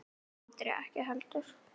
Andri ekki heldur.